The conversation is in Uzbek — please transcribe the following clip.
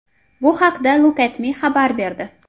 Bu haqda LookAtMe xabar berdi .